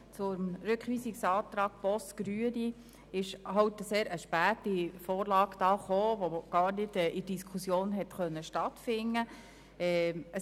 Der Rückweisungsantrag Boss/Grüne lag relativ spät vor, sodass die Diskussion darüber gar nicht stattfinden konnte.